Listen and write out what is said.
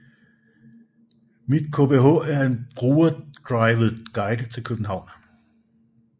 mitKBH var en brugerdrevet guide til København